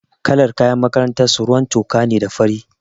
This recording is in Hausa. Kalar kayan makarantar su ruwan toka ne da fari.